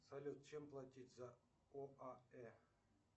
салют чем платить за оаэ